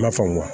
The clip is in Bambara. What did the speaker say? Ma faamu